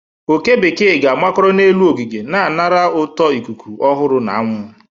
oke bekee ga-amakoro n'elu ogige, na anara ụtọ ikuku ọhụrụ na anwụ.